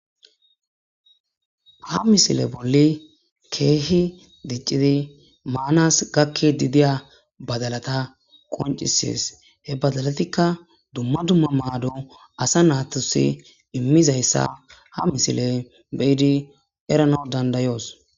Ha misileti kehi diccidi manas gakidi diya badallata qoncisses hebadalatikka asanas dumma dumma maddo imizzayssa ha misilezzan errana dandayos.